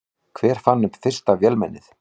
Hver fann upp fyrsta vélmennið?